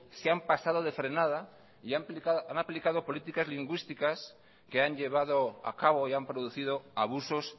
se han pasado de frenada y han aplicado políticas lingüísticas que han llevado a cabo y han producido abusos